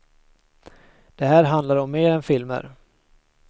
Det här handlar om mer än filmer.